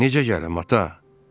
Necə gəlim, ata?